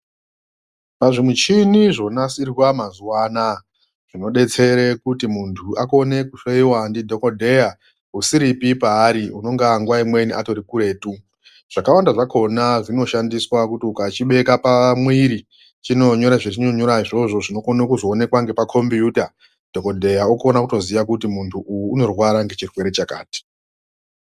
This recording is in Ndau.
Pazvimuchini zvonatsirwa mazuva anaya zvinobetsere kuti muntu akone kuhloyiwa ndidhokodheya usiripi paari unongaa nguva imweni atori kuretu . Zvakawanda zvakona zvinoshandiswa kuti ukachibeka pamwiri chinonyora zvechinonyora zvozvo zvinokona kuzoonekwa nepakombiyuta dhokodheya otokone kuziya kuti muntu uyu unorwara nechirwere chakati .